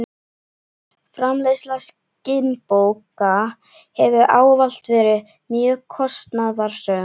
Framleiðsla skinnbóka hefur ávallt verið mjög kostnaðarsöm.